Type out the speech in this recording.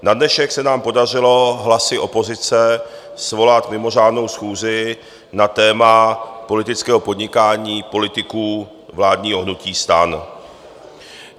Na dnešek se nám podařilo hlasy opozice svolat mimořádnou schůzi na téma politického podnikání politiků vládního hnutí STAN.